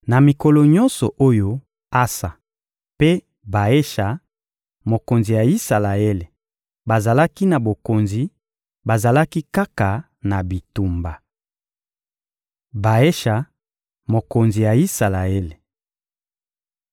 Na mikolo nyonso oyo Asa mpe Baesha, mokonzi ya Isalaele, bazalaki na bokonzi, bazalaki kaka na bitumba. Baesha, mokonzi ya Isalaele